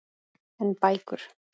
En bækur?